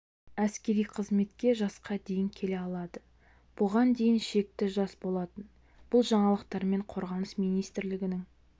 әскери қызметке жасқа дейін келе алады бұған дейін шекті жас болатын бұл жаңалықтармен қорғаныс министрлігінің